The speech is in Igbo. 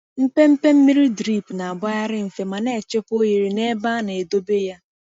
Mpempe mmiri drip na-agbagharị mfe ma na-echekwa ohere n’ebe a na-edobe ya.